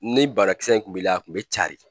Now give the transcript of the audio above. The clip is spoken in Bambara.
Ni banakisɛ in kun bi la a kun bi cari